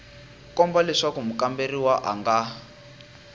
komba leswaku mukamberiwa a nga